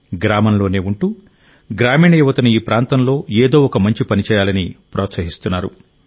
గ్రామంలోనే ఉంటూ గ్రామీణ యువతను ఈ ప్రాంతంలో ఏదో ఒక మంచి పని చేయాలని ప్రోత్సహిస్తున్నారు